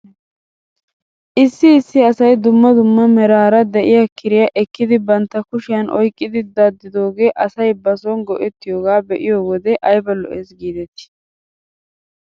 Issi issi asay dumma dumma meraara de'iyaa kiriyaa ekkidi bantta kushiyan oyqqidi daddidoogee asay bason go'ettiyoogaa be'iyoo wode ayba lo''es giidetii.